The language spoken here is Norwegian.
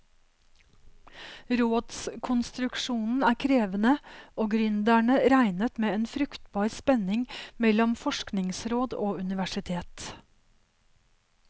Rådskonstruksjonen er krevende, og gründerne regnet med en fruktbar spenning mellom forskningsråd og universitet.